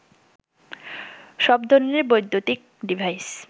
সব ধরনের বৈদ্যুতিক ডিভাইস